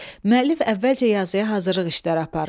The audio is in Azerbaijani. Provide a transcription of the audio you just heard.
Müəllif əvvəlcə yazıya hazırlıq işləri aparır.